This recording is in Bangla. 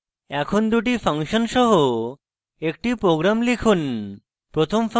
এখন দুটি ফাংশনের সাথে একটি program লিখুন